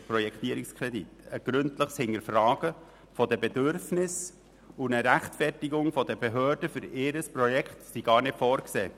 Ein gründliches Hinterfragen der Bedürfnisse und eine Rechtfertigung der Behörden für ihr Projekt sind gar nicht vorgesehen.